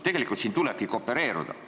Siin tulebki koopereeruda.